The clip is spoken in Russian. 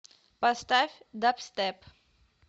поставь дабстеп